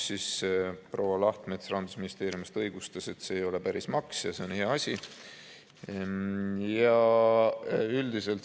Proua Lahtmets Rahandusministeeriumist õigustas, et see ei ole päris maks ja see on hea asi.